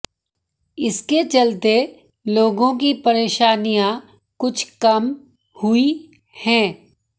इसके चलते लोगों की परेशानियां कुछ कम हुई हैं